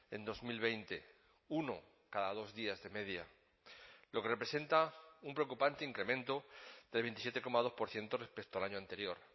en dos mil veinte uno cada dos días de media lo que representa un preocupante incremento del veintisiete coma dos por ciento respecto al año anterior